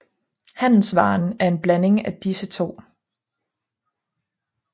Handelsvaren er en blanding af disse to